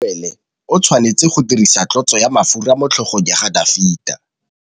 Samuele o tshwanetse go dirisa tlotsô ya mafura motlhôgong ya Dafita.